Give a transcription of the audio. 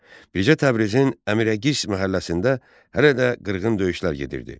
Bircə Təbrizin Əmirəqis məhəlləsində hələ də qırğın döyüşlər gedirdi.